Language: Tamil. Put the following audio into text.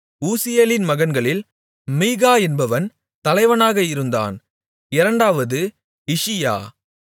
ஊசியேலின் மகன்களில் மீகா என்பவன் தலைவனாக இருந்தான் இரண்டாவது இஷியா